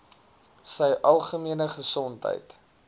sy algemene gesondheid